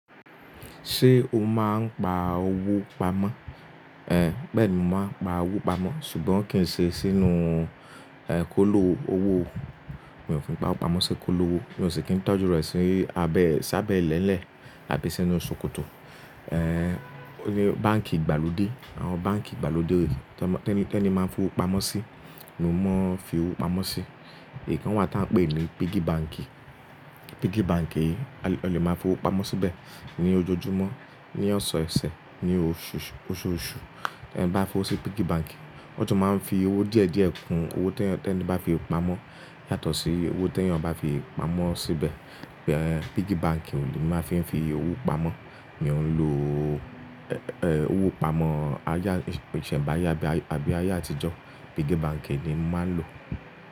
Ṣé o máa ń pa owó pamọ́? Ẹ̀, bẹ́ẹ̀ni mo máa ń pa owó pamọ́ ṣùgbọ́n kì í ṣe sínú, ẹ́, kóló owó. Mi ò kí ń pa owó pamọ́ sí kóló owó, mi ò sì kí ń tọ́jú rẹ̀ sí abẹ́ s'abẹ́lẹ́lẹ̀ àbí sínú ṣòkòtò. Ẹ́, ni báǹkì ìgbàlódé, àwọn báǹkì ìgbàlódé tẹni teni máa ń fi owó pamọ́ sí, ni mo máa ń fi owó pamọ́ sí. Ìkan wà tí a ń pè ní piggy bank. Piggy bank yìí, a lè máa fi owó pamọ́ síbẹ̀ ní ojoojúmọ́, ní ọ̀sọ̀ọ̀sẹ̀, ní oṣooṣù. Ẹ̀, bá fi owó sí piggy bank, ọ jọ máa ń fi owó díẹ̀ díẹ̀ kun owó t'ẹni bá fi pamọ́ yàtọ̀ sí owó t'eẹ̀yan bá fi pamọ́ síbẹ̀. Ẹ̀, piggy bank ni máa fi ń fi owó pamọ́. Mi ò ń lo, ẹ́, owó pamọ́ àyè ìsẹ̀ǹbáyé àbí àbí ayé àtijọ́. Piggy bank ni mo máa ń lò.